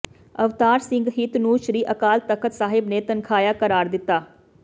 ਅਵਤਾਰ ਸਿੰਘ ਹਿਤ ਨੂੰ ਸ੍ਰੀ ਅਕਾਲ ਤਖ਼ਤ ਸਾਹਿਬ ਨੇ ਤਨਖ਼ਾਹੀਆ ਕਰਾਰ ਦਿੱਤਾ